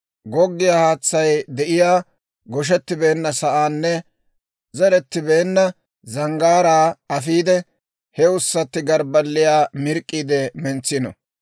Goggiyaa haatsay de'iyaa goshettibeenna sa'anne zerettibeenna zanggaaraa afiide, he ussatti morggiyaa mirk'k'iide mentsino.